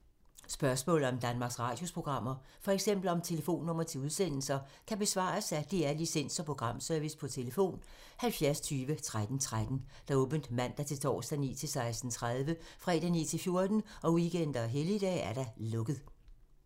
Spørgsmål om Danmarks Radios programmer, f.eks. om telefonnumre til udsendelser, kan besvares af DR Licens- og Programservice: tlf. 70 20 13 13, åbent mandag-torsdag 9.00-16.30, fredag 9.00-14.00, weekender og helligdage: lukket.